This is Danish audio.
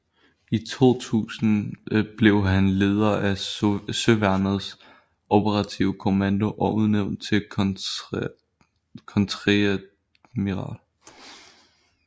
I 2000 blev han leder af Søværnets Operative Kommando og udnævnt til kontreadmiral